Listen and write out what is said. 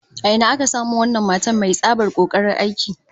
A ina aka samo wannan matar mai tsabar kokarin aiki?